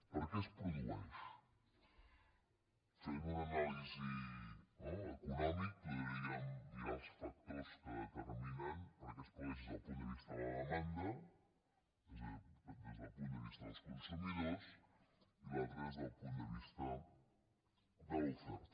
per què es produeix fent una anàlisi econòmica podríem mirar els factors que determinen per què es produeix des del punt de vista de la demanda des del punt de vista dels consumidors i l’altre des del punt de vista de l’oferta